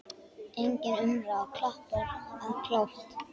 Engin umræða, klappað og klárt.